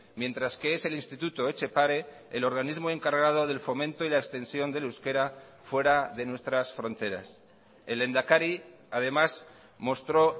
mientras que es el instituto etxepare el organismo encargado del fomento y la extensión del euskera fuera de nuestras fronteras el lehendakari además mostró